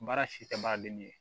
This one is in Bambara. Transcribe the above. Baara si tɛ ban ale ni